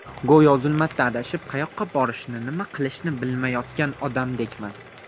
Go‘yo zulmatda adashib, qayoqqa borishni, nima qilishni bilmayotgan odamdekman.